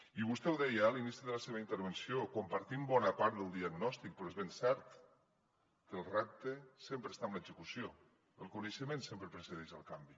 i vostè ho deia eh a l’inici de la seva intervenció compartim bona part del diagnòstic però és ben cert que el repte sempre està en l’execució el coneixement sempre precedeix el canvi